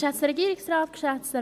Ist dies richtig?